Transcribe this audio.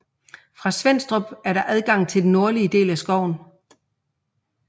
Fra Svenstrup er der adgang til den nordlige del af skoven